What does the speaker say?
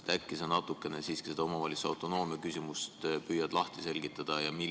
Äkki sa natukene siiski seda omavalitsuse autonoomia küsimust püüad lahti seletada?